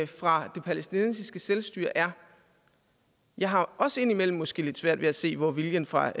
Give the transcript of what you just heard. fra det palæstinensiske selvstyre er jeg har også indimellem måske lidt svært ved at se hvor viljen fra